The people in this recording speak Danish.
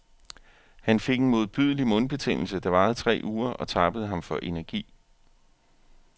Han fik en modbydelig mundbetændelse, der varede tre uger og tappede ham for energi.